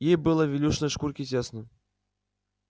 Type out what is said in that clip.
ей было в илюшиной шкурке тесно